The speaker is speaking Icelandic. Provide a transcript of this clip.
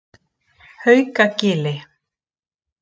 Haukagili